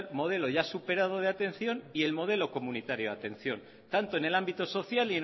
modelo ya superado de atención y el modelo comunitario de atención tanto en el ámbito social